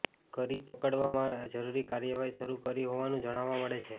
કરી પડકારવા અંગે જરૃરી કાર્યવાહી શરૃ કરી હોવાનું જાણવા મળે છે